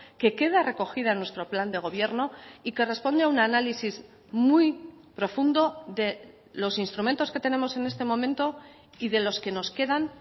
que queda recogida en nuestro plan de gobierno y que responde a un análisis muy profundo de los instrumentos que tenemos en este momento y de los que nos quedan